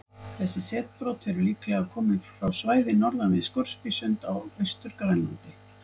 Þessi setbrot eru líklega komin frá svæði norðan við Scoresbysund á Austur-Grænlandi.